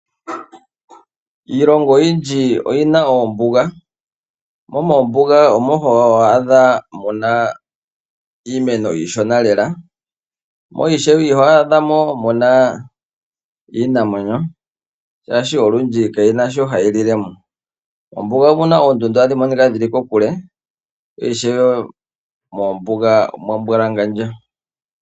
Iilongo oyindji oyi na oombuga. Mombuga omo ho adha mu na iimeno iishona lela mo ishewe iho adha mo mu na iinamwenyo, oshoka olundji kayi na shoka hayi lile mo. Mombuga omu na oondundu hadhi monika dhi li kokule, ishewe omwa mbwalangandja.